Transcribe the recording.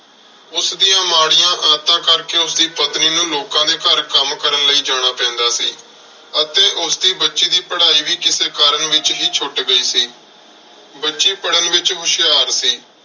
ਉਸਦੀਆਂ ਮਾੜੀਆਂ ਆਦਤਾਂ ਕਰਕੇ ਉਸਦੀ ਪਤਨੀ ਨੂੰ ਲੋਕਾਂ ਦੇ ਘਰ ਕੰਮ ਕਰਨ ਲਈ ਜਾਣਾ ਪੈਂਦਾ ਸੀ ਅਤੇ ਉਸਦੀ ਬੱਚੀ ਦੀ ਪੜ੍ਹਾਈ ਵੀ ਕਿਸੇ ਕਾਰਨ ਵਿੱਚ ਹੀ ਛੁੱਟ ਗਈ ਸੀ। ਬੱਚੀ ਪੜ੍ਹਨ ਵਿੱਚ ਹੁਸ਼ਿਆਰ ਸੀ।